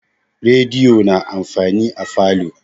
Rediyo na amfani a falo.